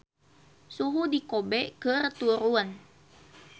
Suhu di Kobe keur turun